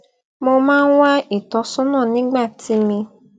mo máa ń wá ìtósónà nígbà tí mi